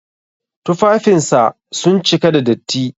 Tufafinsa sun cika da datti.